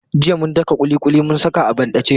Jiya mun daka ƙuliƙuli mun saka a banɗace.